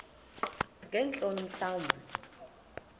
ngeentloni mhla wumbi